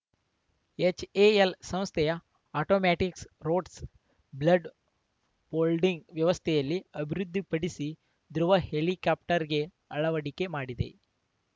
HAL ಸಂಸ್ಥೆಯು automatics rods blade folding ವ್ಯವಸ್ಥೆಯಲ್ಲಿ ಅಭಿವೃದ್ಧಿಪಡಿಸಿ ಧ್ರುವ್‌ ಹೆಲಿಕಾಪ್ಟರ್‌ಗೆ ಅಳವಡಿಕೆ ಮಾಡಿದೆ